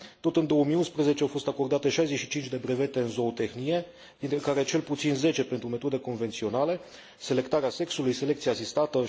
Tot în 2011, au fost acordate 65 de brevete în zootehnie, dintre care cel puțin 10 pentru metode convenționale selectarea sexului, selecție asistată,